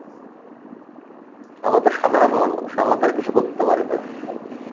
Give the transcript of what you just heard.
আমরা তো সাধারণ মানুষ আমরা তো আর কিছু করতে পারি না।